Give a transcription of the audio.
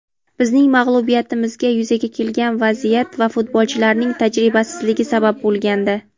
bizning mag‘lubiyatimizga yuzaga kelgan vaziyat va futbolchilarning tajribasizligi sabab bo‘lgandi.